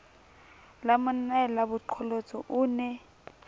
la monnae lebaqolotsi o ne